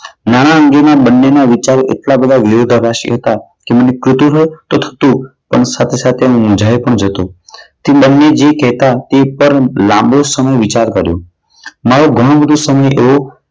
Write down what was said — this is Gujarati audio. નાણાકીયના બંનેના વિચારો એટલા બધા વિરોધાભાસી હતા કે મને કુતુહલ થતું પણ સાથે સાથે મૂંઝાય પણ જતો. તે બંને જે કહેતા પેપર મેં લાંબો સમય વિચાર કર્યો. મારો ઘણો બધો સમય એવો